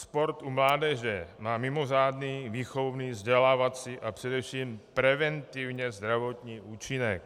Sport u mládeže má mimořádný výchovný, vzdělávací a především preventivně zdravotní účinek.